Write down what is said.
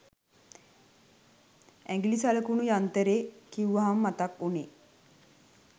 ඇඟිලි සලකුණු යන්තරේ කිව්වම මතක් උනේ